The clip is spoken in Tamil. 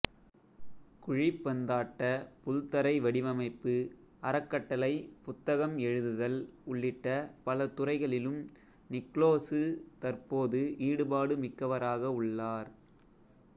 குழிப்பந்தாட்டப் புல்தரை வடிவமைப்பு அறக்கட்டளை புத்தகம் எழுதுதல் உள்ளிட்ட பல துறைகளிலும் நிக்லோசு தற்போது ஈடுபாடுமிக்கவராக உள்ளார்